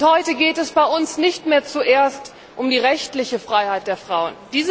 Heute geht es bei uns nicht mehr zuerst um die rechtliche Freiheit der Frauen.